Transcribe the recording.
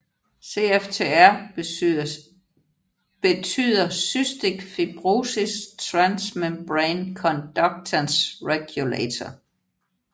CFTR betyder Cystic fibrosis transmembrane conductance regulator